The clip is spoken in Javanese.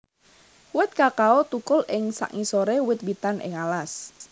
Wit kakao thukul ing sangisoré wit witan ing alas